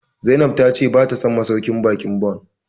Zainab ta ce bata son masauƙin baƙin Bon